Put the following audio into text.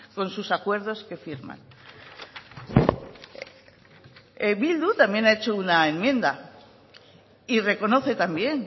con sus acuerdos que firman bildu también ha hecho una enmienda y reconoce también